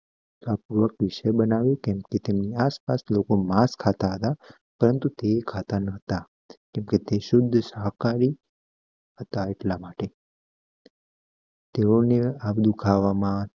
વિષય બનાય તું કેમકે તેમના આસ પાસ લોકો માસ ખાતા હતા પરંતુ તે ખાતા નહોતા કેમકે તે સુધી સહકાહારી હતા એટલા માટે તેઓને આ બધું ખાવામાં